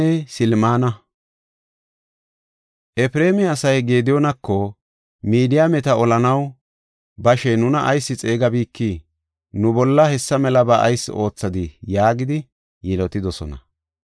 Efreema asay Gediyoonako, “Midiyaameta olanaw bashe nuna ayis xeegabikii? Nu bolla hessa melaba ayis oothadii?” yaagidi yilotidosona.